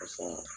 Paseke